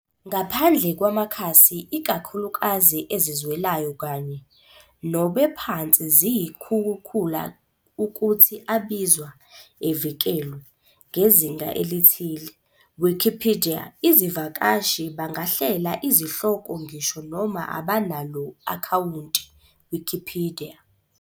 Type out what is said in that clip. Ngaphandle kwamakhasi ikakhulukazi ezizwelayo kanye - nobe phansi yizikhukhula ukuthi abizwa "evikelwe" ngezinga elithile, Wikipedia izivakashi bangahlela izihloko ngisho noma abanalo akhawunti Wikipedia.